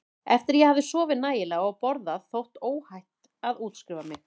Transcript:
Eftir að ég hafði sofið nægilega og borðað þótti óhætt að útskrifa mig.